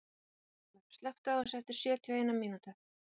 Börkur, slökktu á þessu eftir sjötíu og eina mínútur.